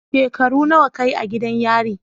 Shekaru nawa ka yi a gidan yari?